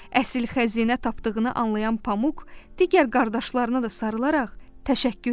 Əsl xəzinə tapdığını anlayan Pamuk digər qardaşlarını da sarılaraq təşəkkür edib.